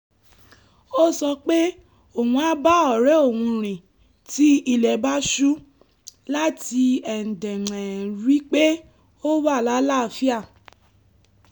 ó sọ pé òun á bá ọ̀rẹ́ òun rìn tí ilẹ̀ bá ṣú láti ri pé ó wà láàáfíà